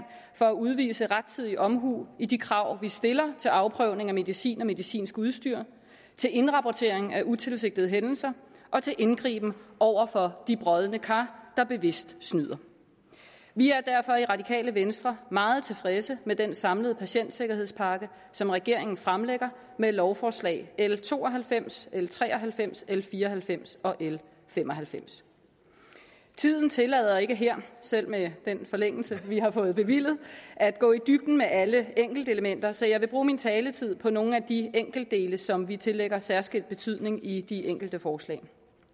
for at udvise rettidig omhu i de krav vi stiller til afprøvning af medicin og medicinsk udstyr til indrapportering af utilsigtede hændelser og til indgriben over for de brodne kar der bevidst snyder vi er derfor i det radikale venstre meget tilfredse med den samlede patientsikkerhedspakke som regeringen fremlægger med lovforslag l to og halvfems l tre og halvfems l fire og halvfems og l fem og halvfems tiden tillader ikke her selv med den forlængelse vi har fået bevilget at gå i dybden med alle enkeltelementer så jeg vil bruge min taletid på nogle af de enkeltdele som vi tillægger særskilt betydning i de enkelte forslag